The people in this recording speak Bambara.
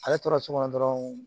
Ale tora so kɔnɔ dɔrɔn